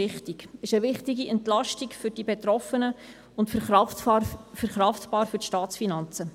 Er ist eine wichtige Entlastung für die Betroffenen und verkraftbar für die Staatsfinanzen.